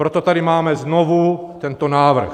Proto tady máme znovu tento návrh.